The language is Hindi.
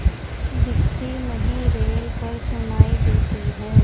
दिखती नहीं रेल पर सुनाई देती है